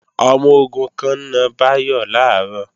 Ọmọ-ogun kan na Báyọ̀ làárọ̀